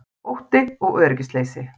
Ótti og öryggisleysi